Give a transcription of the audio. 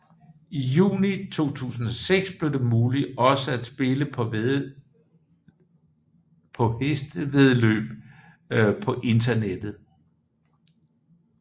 I juni 2006 blev det muligt også at spille på hestevæddeløb på internettet